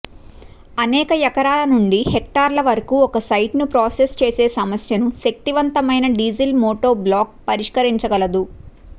అనేక ఎకరాల నుండి హెక్టార్ల వరకు ఒక సైట్ను ప్రాసెస్ చేసే సమస్యను శక్తివంతమైన డీజిల్ మోటోబ్లాక్ పరిష్కరించగలదు